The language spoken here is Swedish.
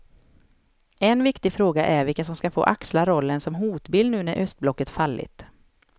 En viktig fråga är vilka som ska få axla rollen som hotbild nu när östblocket fallit.